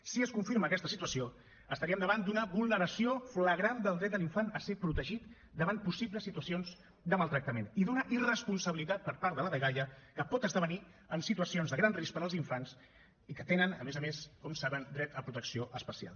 si es confirma aquesta situació estaríem davant d’una vulneració flagrant del dret de l’infant a ser protegit davant possibles situacions de maltractament i d’una irresponsabilitat per part de la dgaia que pot esdevenir en situació de gran risc per als infants que tenen a més a més com saben dret a protecció especial